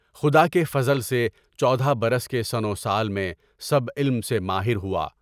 خدا کے فضل سے چودہ برس کے سن و سال میں سب علم سے ماہر ہوا۔